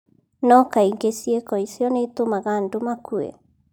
No kaingĩ ciĩko icio nĩ itũmaga andũ makue